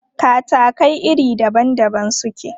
Katakai iri daban daban suke.